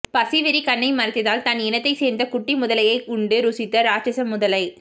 பசி வெறி கண்ணை மறைத்ததால் தன் இனத்தை சேர்ந்த குட்டி முதலையையே உண்டு ருசித்த ராட்சத முதலை